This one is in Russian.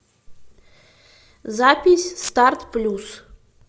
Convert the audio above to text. запись старт плюс